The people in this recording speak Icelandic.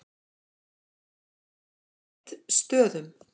Glitstöðum